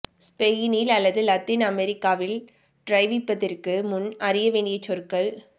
ஸ்பெயினில் அல்லது லத்தீன் அமெரிக்காவில் டிரைவிப்பதற்கு முன் அறிய வேண்டிய சொற்கள்